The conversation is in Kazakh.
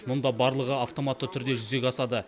мұнда барлығы автоматты түрде жүзеге асады